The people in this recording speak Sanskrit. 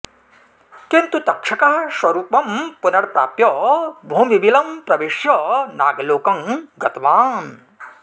किन्तु तक्षकः स्वरूपं पुनर्प्राप्य भूमिबिलं प्रविश्य नागलोकं गतवान्